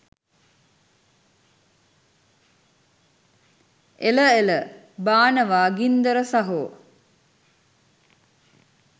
එල එල බානවා ගින්දර සහෝ